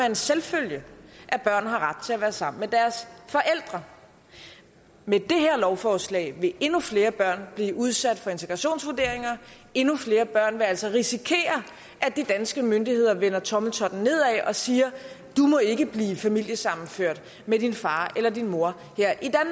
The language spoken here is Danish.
en selvfølge at børn har ret til at være sammen med deres forældre med det her lovforslag vil endnu flere børn blive udsat for integrationsvurderinger endnu flere børn vil altså risikere at de danske myndigheder vender tommeltotten nedad og siger du må ikke blive familiesammenført med din far eller din mor